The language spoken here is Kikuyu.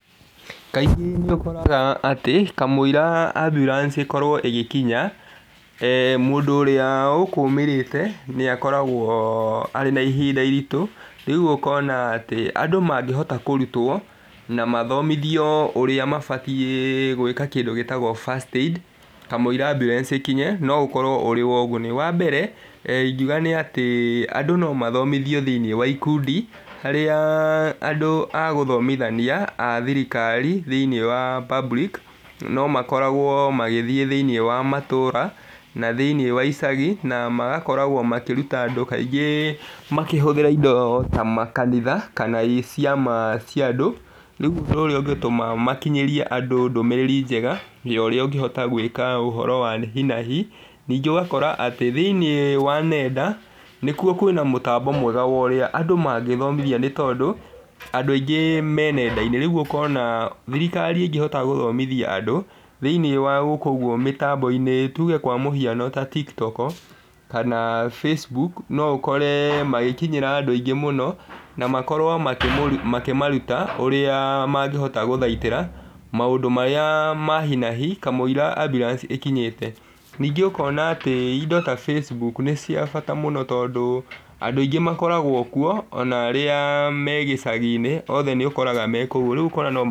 Kaingĩ nĩ ũkoraga atĩ kamũira ambulance ĩkorwo ĩgĩkinya mũndũ ũrĩa ũkũmĩrĩte nĩ akoragwo arĩ na ihinda iritũ. Rĩu ũkona atĩ andũ mangĩhota kũrutwo na mathomithio ũrĩa mabatiĩ gwĩka, kĩndũ gĩtagwo first aid kamũira ambulance ĩkinye, no ũkorwo ũrĩ ũguni. Wa mbere ingiuga atĩ andũ no mathomithio thĩiniĩ wa ikundi, harĩa andũ gũthomithania a thirikari thĩiniĩ wa public no makoragwo magĩthiĩ thĩiniĩ wa matũra na thĩiniĩ wa icagi, na magakorwo makĩruta andũ kaingĩ makĩhũthĩra indo ta makanitha, kana ciama cia andũ. Rĩu ũndũ ũrĩa ũngĩtũma makinyĩrie andũ ndũmĩrĩri njega ya ũrĩa ũngĩhota gwĩka ũhoro wa hi na hi. Ningĩ ũgakora atĩ thĩiniĩ wa nenda nĩkuo, kwĩna mũtambo mwega wa ũrĩa andũ mangĩthomithio, nĩ tondũ andũ aingĩ me nenda-inĩ. Rĩu ũkona atĩ thirikari ĩngĩhota gũthomithia andũ thĩiniĩ wa gũkũ ũguo mĩtambo-inĩ, tuge kwa mũhiano ta TikTok kana Facebook, no ũkore magĩkinyĩra andũ aingĩ mũno na makorwo makĩmaruta ũrĩa mangĩhota gũthaitĩra maũndũ marĩa ma hi na hi, kamũira ambulance ĩkinyĩte. Ningĩ ũkona atĩ indo ta Facebook nĩ cia bata mũno tondũ andũ aingĩ makoragwo kuo ona arĩa me gĩcagi-inĩ, othe nĩ ũkoraga me kũu, rĩu ũkona no...